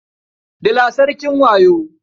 Dila sarkin wayo.